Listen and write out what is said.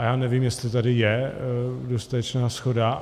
A já nevím, jestli tady je dostatečná shoda.